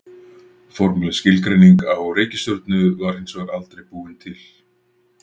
Formleg skilgreining á reikistjörnu var hins vegar aldrei búin til.